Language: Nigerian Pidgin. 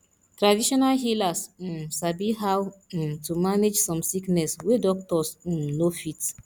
traditional healers um sabi how um to manage some sickness wey doctors um no fit